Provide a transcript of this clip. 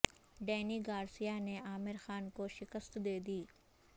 Danny Garcia نے عامر خان کو شکست دے دی